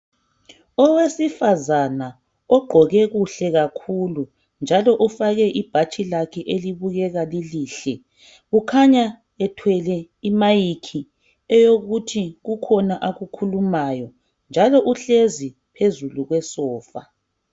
Owesifazana ogqoke kuhle kakhulu njalo ufake ibhatshi lakhe elibukeka lilihle kukhanya ethwele imayikhi eyokuthi kukhona akukhulumayo njalo uhlezi phezulu kwesofa